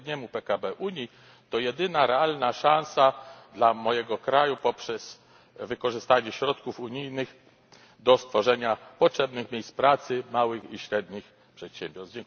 średniemu PKB Unii, to jedyna realna szansa dla mojego kraju poprzez wykorzystanie środków unijnych do stworzenia potrzebnych miejsc pracy małych i średnich przedsiębiorstw.